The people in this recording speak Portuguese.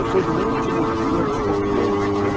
Eu sou do último dia de escorpião, né?